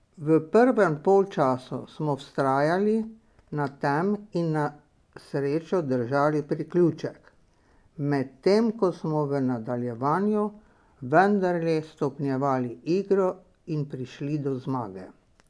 V prvem polčasu smo vztrajali na tem in na srečo držali priključek, medtem ko smo v nadaljevanju vendarle stopnjevali igro in prišli do zmage.